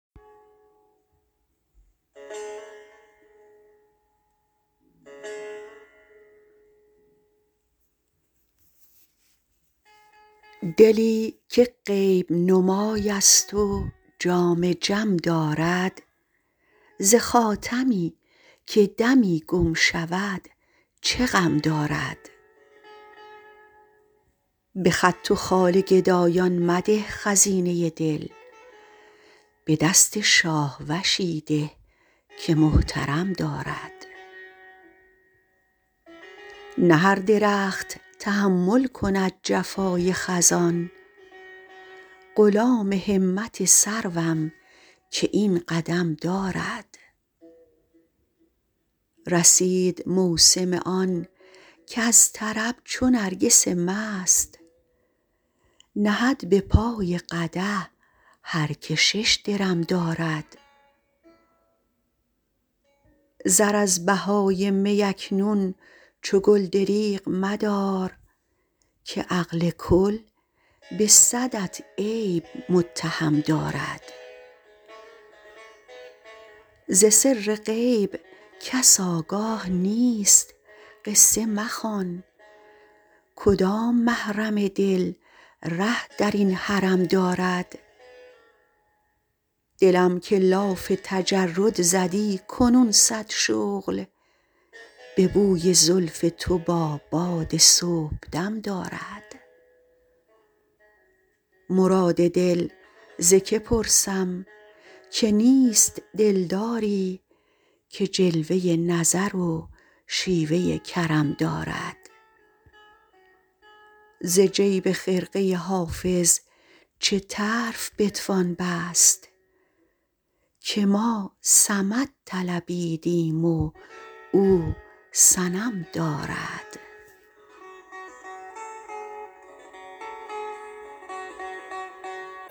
دلی که غیب نمای است و جام جم دارد ز خاتمی که دمی گم شود چه غم دارد به خط و خال گدایان مده خزینه دل به دست شاهوشی ده که محترم دارد نه هر درخت تحمل کند جفای خزان غلام همت سروم که این قدم دارد رسید موسم آن کز طرب چو نرگس مست نهد به پای قدح هر که شش درم دارد زر از بهای می اکنون چو گل دریغ مدار که عقل کل به صدت عیب متهم دارد ز سر غیب کس آگاه نیست قصه مخوان کدام محرم دل ره در این حرم دارد دلم که لاف تجرد زدی کنون صد شغل به بوی زلف تو با باد صبحدم دارد مراد دل ز که پرسم که نیست دلداری که جلوه نظر و شیوه کرم دارد ز جیب خرقه حافظ چه طرف بتوان بست که ما صمد طلبیدیم و او صنم دارد